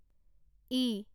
ই